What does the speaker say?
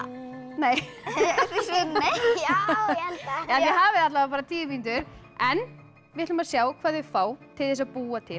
nei nei já þið hafið alla vega bara tíu mínútur en við ætlum að sjá hvað þau fá til þess að búa til